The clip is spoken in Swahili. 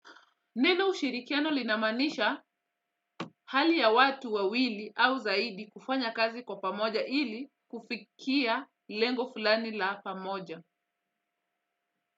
Neno ushirikiano linamaanisha hali ya watu wawili au zaidi kufanya kazi kwa pamoja ili kufikia lengo fulani la pamoja.